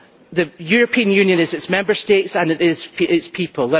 The European Union is its Member States and it is its people.